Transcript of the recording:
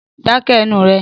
Dáké̩ e̩nu ré!